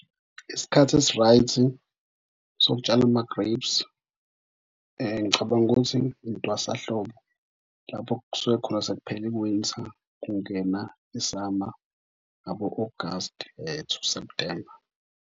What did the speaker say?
Isikhathi esi-right sokutshala ama-grapes. Ngicabanga ukuthi intwasahlobo lapho okusuke khona sekuphele i-winter kungena i-summer ngabo-August to September.